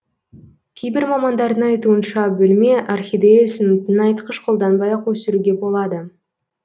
кейбір мамандардың айтуынша бөлме орхидеясын тыңайтқыш қолданбай ақ өсіруге болады